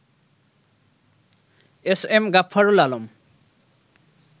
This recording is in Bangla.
S M Gaffarul Alam